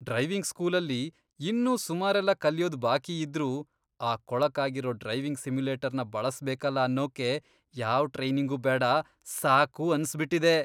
Driving ಸ್ಕೂಲಲ್ಲಿ ಇನ್ನೂ ಸುಮಾರೆಲ್ಲ ಕಲ್ಯೋದ್ ಬಾಕಿಯಿದ್ರೂ ಆ ಕೊಳಕಾಗಿರೋ ಡ್ರೈವಿಂಗ್ ಸಿಮ್ಯುಲೇಟರ್ನ ಬಳಸ್ಬೇಕಲ ಅನ್ನೋಕೆ ಯಾವ್ ಟ್ರೈನಿಂಗೂ ಬೇಡ, ಸಾಕು ಅನ್ಸ್ಬಿಟಿದೆ.